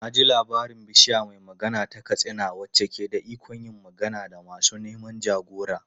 Na ji labarin Bishiya mai Magana ta Katsina wacce ke da ikon yin magana da masu neman jagora.